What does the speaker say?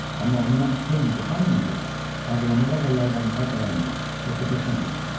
Amma ondan penni qopartmayınca ağlamağa və yalvarmağa davam elə, yoxsa peşman olarsan.